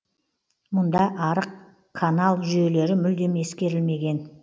мұнда арық канал жүйелері мүлдем ескерілмеген